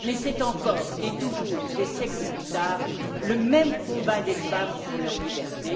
Mais c'est encore et toujours, des siècles plus tard, le même combat des femmes pour leur liberté.